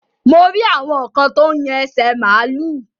Mo rí àwọn kan tó yan ẹsẹ̀ màlúù.